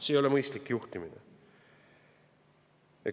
See ei ole mõistlik juhtimine!